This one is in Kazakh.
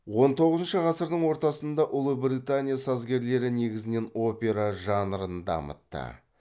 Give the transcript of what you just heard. он тоғызыншы ғасырдың ортасында ұлыбритания сазгерлері негізінен опера жанрын дамытты